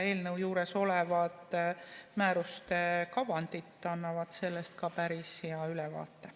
Eelnõu juures olevad määruste kavandid annavad sellest päris hea ülevaate.